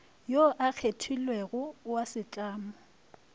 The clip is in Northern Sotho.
yo a kgethilwego wa setlamo